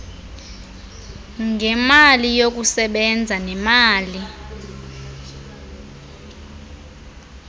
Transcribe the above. ngemali yokusebenza nemali